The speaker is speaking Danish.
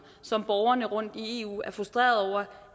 som borgerne rundtom i eu er frustreret